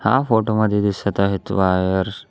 या फोटो मध्ये दिसत आहेत वायर.